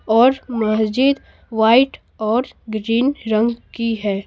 और महजिद वाइट और ग्रीन रंग की है।